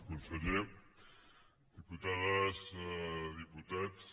conseller diputades diputats